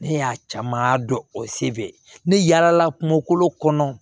Ne y'a caman dɔ o se fɛ ne yaala la kungo kolo kɔnɔ